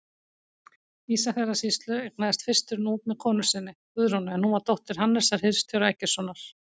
Ísafjarðarsýslu, eignaðist fyrstur Núp með konu sinni, Guðrúnu, en hún var dóttir Hannesar hirðstjóra Eggertssonar.